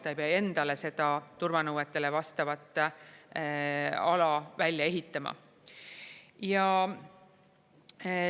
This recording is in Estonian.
Ta ei pea endale seda turvanõuetele vastavat ala välja ehitama.